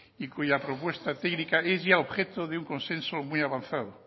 y cuya propuesta técnica es ya objeto de un consenso muy avanzado